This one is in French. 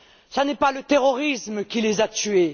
Ce n'est pas le terrorisme qui les a tuées.